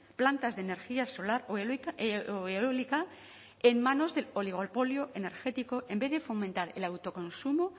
plantas de energía solar o eólica en manos del oligopolio energético en vez de fomentar el autoconsumo